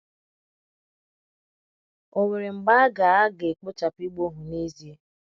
Ò nwere mgbe a ga - a ga - ekpochapụ ịgba ohu n’ezie?